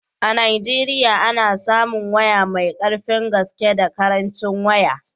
A Najeriya ana samun waya mai karfin gaske da karancin waya